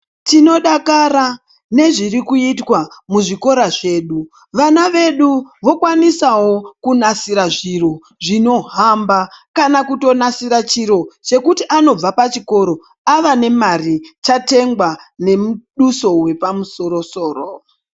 Tinodakara nezviri kuitwa muzvikora zvedu. Vana vedu vokwanisawo kunasira zviro zvinohamba, kana kutonasira chiro chekuti anobva pachikoro ava nemari chatengwa nemuduso wepamusoro soro.